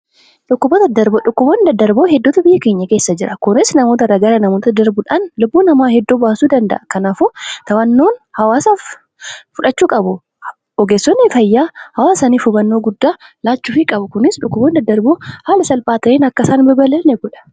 Dhukkuboota daddarboo heddutu biyya keenya keessa jira. Kunis namoota irraa gara namootatti daddarbudhan lubbuu namaa hedduu baasuu danda'aa. Kanaafuu ogeessonni fayyaa hawaasaf hubannoo laachuu qabu. Kunimmoo dhukuboonni dadadarboon haala salphaan akka hin daddabarre godha.